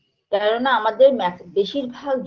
কেননা আমাদের ম্যাক বেশিরভাগ